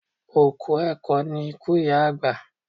Òkú ẹ̀kọ ni iku iya agba